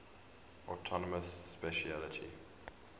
autonomous specialty